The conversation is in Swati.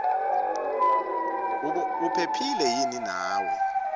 uphephile yini naye